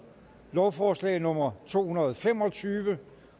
lovforslag nummer to hundrede og fem og tyve